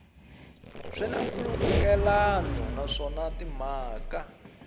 swi na nkhulukelano naswona timhaka